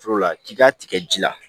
Foro la k'i ka tigɛ ji la